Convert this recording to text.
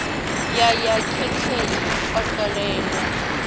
ya ya getheni u ṱolela